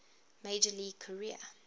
major league career